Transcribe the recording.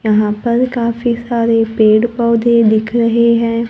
यहां पर काफी सारे पेड़-पौधे दिख रहे हैं।